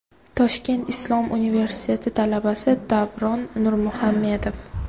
Toshkent islom universiteti talabasi Davron Nurmuhamedov.